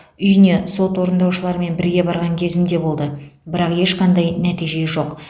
үйіне сот орындаушыларымен бірге барған кезім де болды бірақ ешқандай нәтиже жоқ